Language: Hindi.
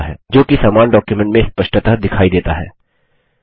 जो कि समान डॉक्युमेंट में स्पष्टतः दिखाई देता है